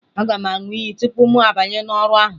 Aga m aṅụ iyi tupu mụ abanye n'ọrụ ahụ